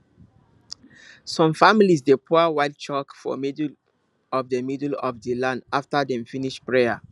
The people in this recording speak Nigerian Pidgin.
some families dey pour white chalk for middle of the middle of the land after dem finish prayer